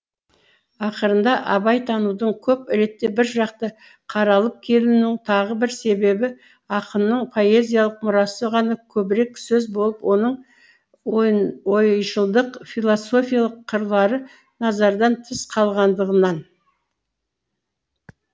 ақырында абайтанудың көп ретте біржақты қаралып келуінің тағы бір себебі ақынның поэзиялық мұрасы ғана көбірек сөз болып оның ойшылдық философиялық қырлары назардан тыс қалғандығынан